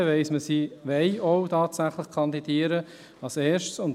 Damit weiss man erstens, dass diese denn auch tatsächlich kandidieren wollen.